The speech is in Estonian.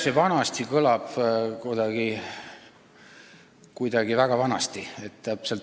See "vanasti" kõlab kuidagi väga vanasti.